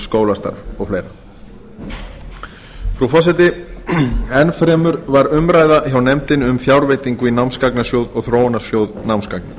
skólastarf og fleira frú forseti enn fremur var umræða hjá nefndinni um fjárveitingu í námsgagnasjóð og þróunarsjóð námsgagna